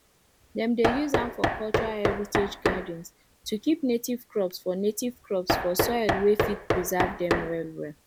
dem dey use am for cultural heritage gardens to keep native crops for native crops for soil wey fit preserve dem wellwell